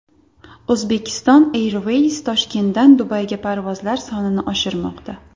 Uzbekistan Airways Toshkentdan Dubayga parvozlar sonini oshirmoqda.